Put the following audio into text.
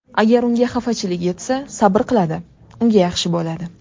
Agar unga xafachilik yetsa, sabr qiladi, unga yaxshi bo‘ladi.